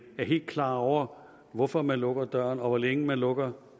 er helt klar over hvorfor man lukker døren og hvor længe man lukker